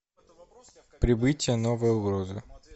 прибытие новая угроза